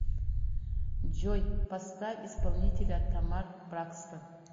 джой поставь исполнителя тамар бракстон